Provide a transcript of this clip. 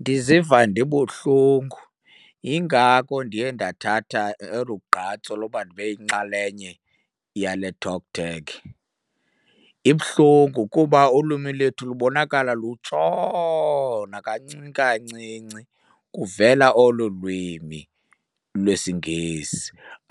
Ndiziva ndibuhlungu, yingako ndiye ndathatha olu gqatso loba ndibe yinxalenye yale TalkTag. Ibuhlungu kuba ulwimi lethu lubonakala lutshona kancinci kancinci kuvela olu lwimi lwesiNgesi.